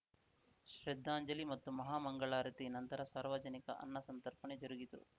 ಶ್ರದ್ಧಾಂಜಲಿ ಮತ್ತು ಮಹಾಮಂಗಳಾರತಿ ನಂತರ ಸಾರ್ವಜನಿಕ ಅನ್ನ ಸಂತರ್ಪಣೆ ಜರುಗಿತು